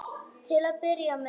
Til að byrja með.